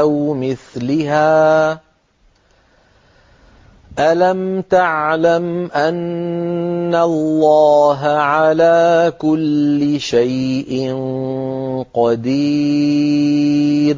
أَوْ مِثْلِهَا ۗ أَلَمْ تَعْلَمْ أَنَّ اللَّهَ عَلَىٰ كُلِّ شَيْءٍ قَدِيرٌ